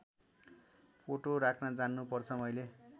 photo राख्न जान्नु पर्छ मैले